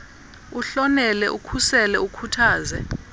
uhlonele ukhusele ukhuthaze